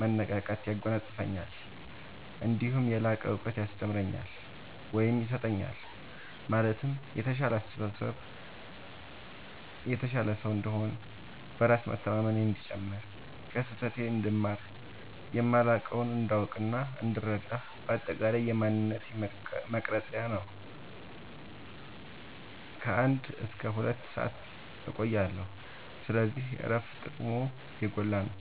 መነቃቃት ያጎናፅፈኛል። እነዲሁም የላቀ እውቀት ያስተምረኛል ወይም ይሰጠኛል ማለትም የተሻለ ሰው እንድሆን፣ በራስ መተማመኔ እንዲጨምር፣ ከስህተቴ እንድማር፣ የማላውቀውን እንዳውቅናእንድረዳ በአጠቃላይ የማንነቴ መቅረጽያ ነው። ከ አንድ እስከ ሁለት ሰአት እቆያለሁ። ስለዚህ እረፍት ጥቅሙ የጎላ ነው።